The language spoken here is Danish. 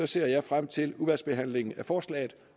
ser jeg frem til udvalgsbehandlingen af forslaget